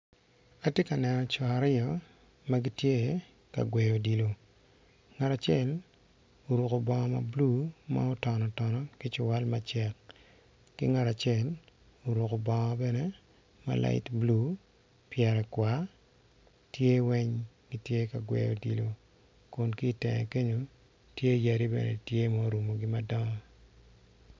Atye ka neno coo aryo magitye ka gweyo odilo ngat acel oruko bongo mablue ma otonotono ki ciwal matar ki ngat acel oruko bongo bene ma light blue pyere kwar tye weng gitye ka gweyo odilo kitenge kenyo tye yadi bene tye ma orungo gi madongo.